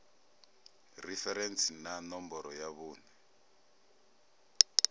referentsi na ṋomboro ya vhuṋe